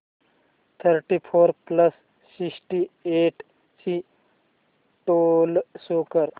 thirty four plus sixty eight ची total show कर